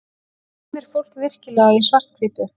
dreymir fólk virkilega í svarthvítu